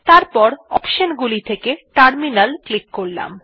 তারপর অপশন গুলি থেকে টার্মিনাল ক্লিক করলাম